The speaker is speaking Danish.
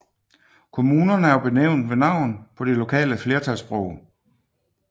Kommunerne er benævnt ved navn på det lokale flertalssprog